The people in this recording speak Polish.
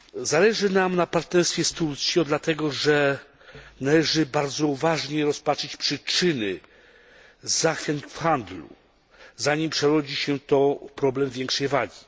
Zależy nam na partnerstwie z Turcją dlatego, że należy bardzo uważnie rozpatrzyć przyczyny zachwiań w handlu, zanim przerodzi się to w problem większej wagi.